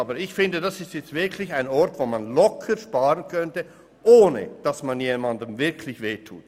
Aber ich finde, an dieser Stelle könnte man wirklich locker sparen, ohne dass man jemandem damit weh tut.